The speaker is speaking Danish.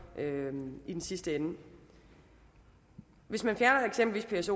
i den sidste ende hvis man fjerner eksempelvis